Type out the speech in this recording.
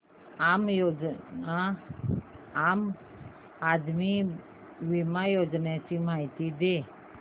आम आदमी बिमा योजने ची माहिती दे